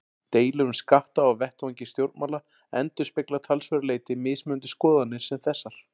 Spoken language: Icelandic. Deilur um skatta á vettvangi stjórnmála endurspegla að talsverðu leyti mismunandi skoðanir sem þessar.